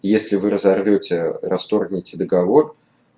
если вы разовьёте расторгните договор